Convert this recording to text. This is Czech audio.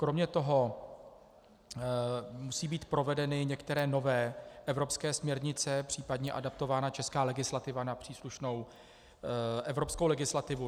Kromě toho musí být provedeny některé nové evropské směrnice, případně adaptována česká legislativa na příslušnou evropskou legislativu.